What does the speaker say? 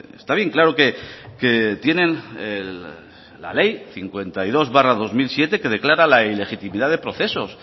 está bien claro que tienen la ley cincuenta y dos barra dos mil siete que declara la ilegitimidad de procesos